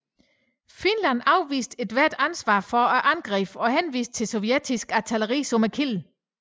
Finland afviste ethvert ansvar for angrebene og henviste til sovjetisk artilleri som kilden